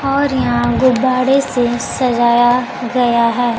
और यहां गुब्बारे से सजाया गया है।